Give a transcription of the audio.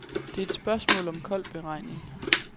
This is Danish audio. Det er et spørgsmål om kold beregning.